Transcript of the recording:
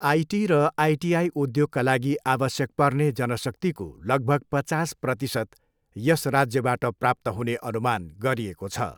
IT र ITI उद्योगका लागि आवश्यक पर्ने जनशक्तिको लगभग पचास प्रतिशत यस राज्यबाट प्राप्त हुने अनुमान गरिएको छ।